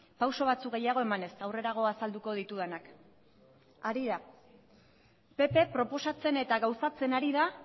pausu batzuk gehiago emanez aurrerago azalduko ditudanak pp proposatzen eta gauzatzen ari da